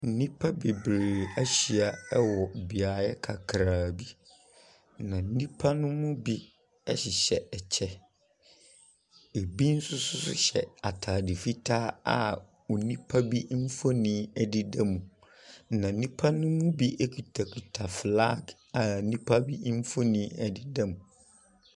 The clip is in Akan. Nnipa bebree ahyia wɔ beaeɛ kakraa bi, na nnipa no mu bi hyehyɛ kyɛ. Ebi nso so hyɛ atade fitaa a onipa bi mfonin dedam, na nnipa no mu bi kutakuta flag a nnipa bi mfonin dedam.